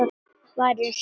Bara eins og bíll.